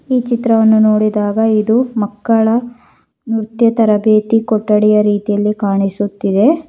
ಈ ಚಿತ್ರವನ್ನು ನೋಡಿದಾಗ ಇದು ಮಕ್ಕಳ ನೃತ್ಯ ತರಬೇತಿ ಕೊಠಡಿಯ ರೀತಿಯಲ್ಲಿ ಕಾಣಿಸುತ್ತಿದೆ.